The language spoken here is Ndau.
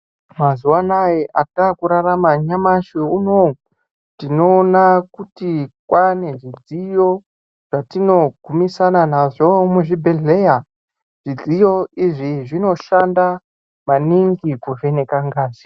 Mazuwaanaya atakurarama nyamashi unowu tinoona kuti kwaane zvidziyo zvatinogumisana nazvo muzvibhedhleya, zvidziyo izvi zvinoshanda maningi kuvheneka ngazi.